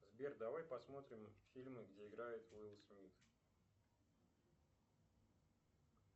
сбер давай посмотрим фильмы где играет уилл смит